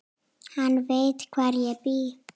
Hann veit hvar ég bý.